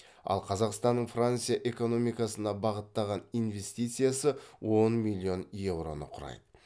ал қазақстанның франция экономикасына бағыттаған инвестициясы он миллион еуроны құрайды